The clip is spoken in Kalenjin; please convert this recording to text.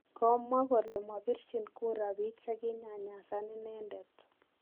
komawa kole mapirchin kura biik che kinyanyas inendent